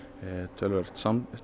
töluverður